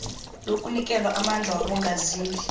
lokunikelwa amandla kwabongazimbi